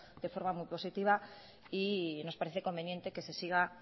de forma muy positiva y nos parece conveniente que se siga